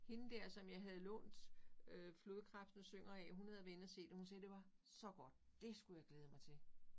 Hende dér som jeg havde lånt øh Flodkrebsene Synger af hun havde været inde og se det hun sagde det var så godt det skulle jeg glæde mig til